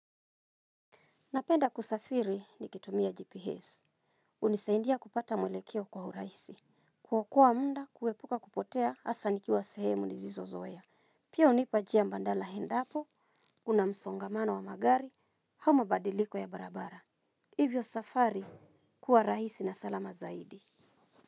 Napenda kusafiri nikitumia GPS. Hunisaidia kupata mwelekeo kwa urahisi. Kuokoa muda kuepuka kupotea hasa nikiwa sehemu nisizozoea. Pia hunipa njia mbadala endapo, kuna msongamano wa magari, au mabadiliko ya barabara. Hivyo safari kuwa rahisi na salama zaidi.